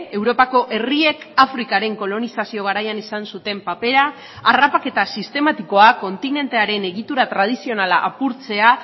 europako herriek afrikaren kolonizazio garaian izan zuten papera harrapaketa sistematikoa kontinentearen egitura tradizionala apurtzea